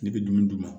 Ne bɛ dumuni d'u ma